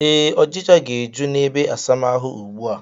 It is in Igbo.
Ee, ọchịcha ga-eju n'ebeasamaahụ ugbu a